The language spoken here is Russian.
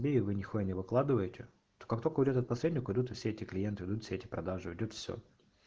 бей его нехуя не выкладываете а то как только уйдёт он к посреднику уйдут и все эти клиенты уйдут все эти продажи уйдёт все